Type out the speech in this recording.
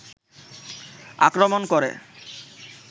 আক্রমন করে